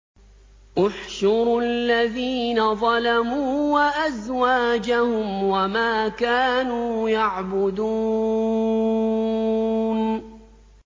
۞ احْشُرُوا الَّذِينَ ظَلَمُوا وَأَزْوَاجَهُمْ وَمَا كَانُوا يَعْبُدُونَ